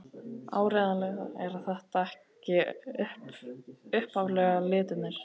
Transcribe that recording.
Áreiðanlega eru þetta ekki upphaflegu litirnir.